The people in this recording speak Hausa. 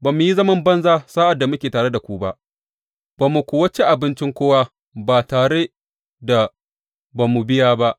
Ba mu yi zaman banza sa’ad da muke tare da ku ba, ba mu kuwa ci abincin kowa ba tare da ba mu biya ba.